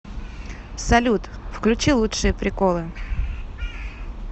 салют включи лучшие приколы